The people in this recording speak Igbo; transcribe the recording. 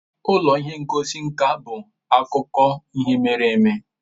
Ụlọ ihe ngosi nka bụ akụkọ ihe mere eme.